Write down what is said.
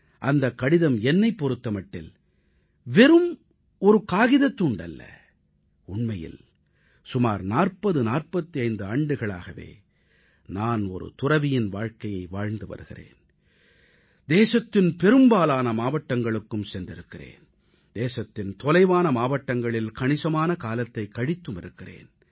அந்தக் கடிதம் என்னைப் பொறுத்த மட்டில் வெறும் காகிதத் துண்டு அல்ல உண்மையில் சுமார் 4045 ஆண்டுகளாகவே நான் ஒரு துறவியின் வாழ்க்கையை வாழ்ந்து வருகிறேன் தேசத்தின் பெரும்பாலான மாவட்டங்களுக்கும் சென்றிருக்கிறேன் தேசத்தின் தொலைதூர மாவட்டங்களில் கணிசமான காலத்தைக் கழித்துமிருக்கிறேன்